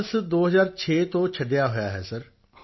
ਬਨਾਰਸ 2006 ਤੋਂ ਛੱਡਿਆ ਹੋਇਆ ਹੈ ਸਰ